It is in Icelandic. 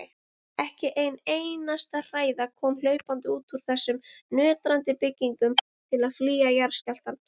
Ekki ein einasta hræða kom hlaupandi út úr þessum nötrandi byggingum til að flýja jarðskjálftann.